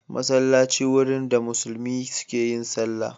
Masallaci wurin da musulmi suke yin sallah.